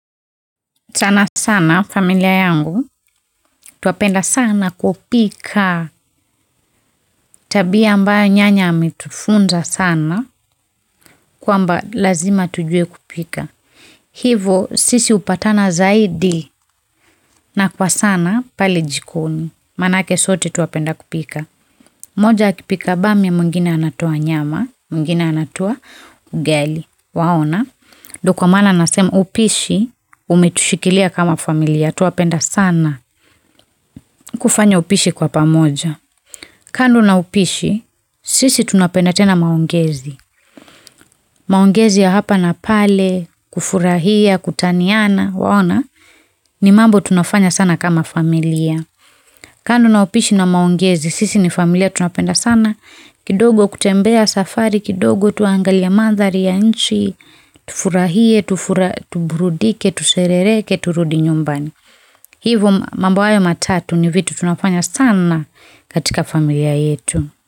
Sana sana familia yangu, twapenda sana kupika, tabia ambayo nyanya ametufunza sana kwamba lazima tujue kupika. Hivyo sisi hupatana zaidi na kwa sana pale jikoni. Manake sote twapenda kupika. Moja akipika bami mwingine anatoa nyama, mwingine anatua ugali. Waona, ndio kwa maana nasema upishi umetushikilia kama familia. Twapenda sana kufanya upishi kwa pamoja kando na upishi, sisi tunapenda tena maongezi. Maongezi ya hapa na pale, kufurahia, kutaniana, waona ni mambo tunafanya sana kama familia. Kando na upishi na maongezi, sisi ni familia tunapenda sana kidogo kutembea safari, kidogo tuangalie mandhari ya nchi, tufurahie, tuburudike, tuserereke, turudi nyumbani hivyo mambo hayo matatu ni vitu tunafanya sana katika familia yetu.